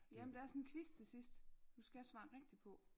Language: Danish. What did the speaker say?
Ja men der er sådan en quiz til sidst du skal svare rigtigt på